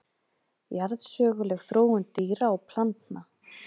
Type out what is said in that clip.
Jarðsöguleg þróun dýra og plantna.